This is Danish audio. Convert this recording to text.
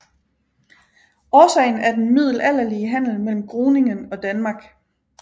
Årsagen er den middelalderlige handel mellem Groningen og Danmark